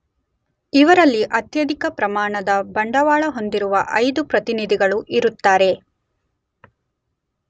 ಇವರಲ್ಲಿ ಅತ್ಯಧಿಕ ಪ್ರಮಾಣದ ಬಂಡವಾಳ ಹೊಂದಿರುವ 5 ಪ್ರತಿನಿಧಿಗಳು ಇರುತ್ತಾರೆ